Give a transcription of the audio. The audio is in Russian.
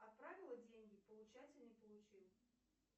отправила деньги получатель не получил